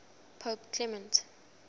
pope clement